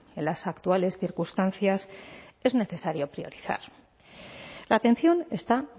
en las actuales circunstancias es necesario priorizar la atención está